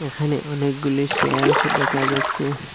এখানে অনেকগুলি সেলফ দেখা যাচ্ছে।